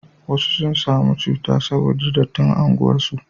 wasu sun samu cuta saboda dattin unguwar su